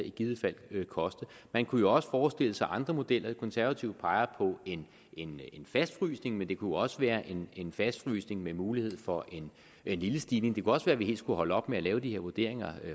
i givet fald vil koste man kunne jo også forestille sig andre modeller de konservative peger på en en fastfrysning men det kunne også være en fastfrysning med mulighed for en lille stigning det kunne også være vi skulle holde op med at lave de her vurderinger